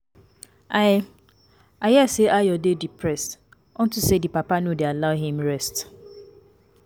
I, I hear say Ayo dey depressed unto say the papa no dey allow him rest